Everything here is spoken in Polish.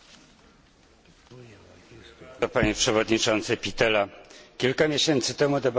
Kilka miesięcy temu debatowaliśmy na tej sali na temat sytuacji w polskim przemyśle stoczniowym.